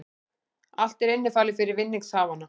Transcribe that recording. Allt er innifalið fyrir vinningshafana